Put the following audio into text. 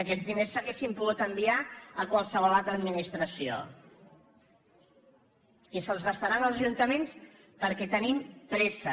aquests diners s’haurien pogut enviar a qualsevol altra administració i se’ls gastaran els ajuntaments perquè tenim pressa